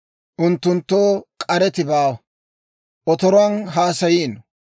Unttunttoo k'areti baawa; otoruwaan haasayiino.